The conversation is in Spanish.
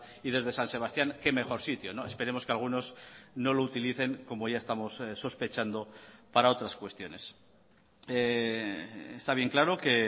y desde san sebastián qué mejor sitio esperemos que algunos no lo utilicen como ya estamos sospechando para otras cuestiones está bien claro que